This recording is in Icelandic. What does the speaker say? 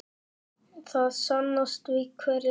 Það sannast við hverja raun.